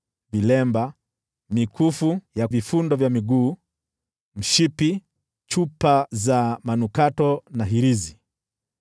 vilemba, mikufu ya vifundo vya miguu, mshipi, chupa za manukato na hirizi,